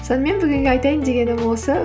сонымен бүгінгі айтайын дегенім осы